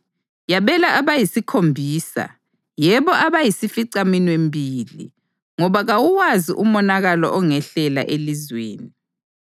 Yabela abayisikhombisa, yebo abayisificaminwembili, ngoba kawuwazi umonakalo ongehlela elizweni.